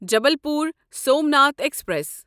Jabalpur Somnath express